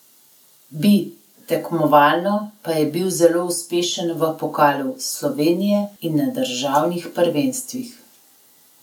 Bi, tekmovalno pa je bil zelo uspešen v pokalu Slovenije in na državnih prvenstvih.